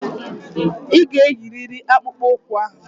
Ị ga-eyiriri akpụkpọ ụkwụ ahụ.